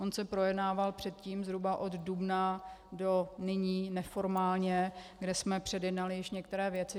On se projednával předtím zhruba od dubna do nyní neformálně, kdy jsme předjednali již některé věci.